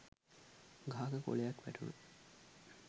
ගහක කොලයක් වැටුණ